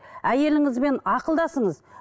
әйеліңізбен ақылдасыңыз